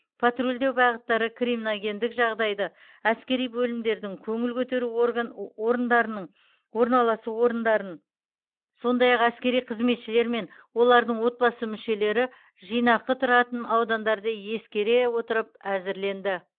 патрульдеу бағыттары криминогендік жағдайды әскери бөлімдердің көңіл көтеру орган орындарының орналасу орындарын сондай ақ әскери қызметшілер мен олардың отбасы мүшелері жинақы тұратын аудандарды ескере отырып әзірленді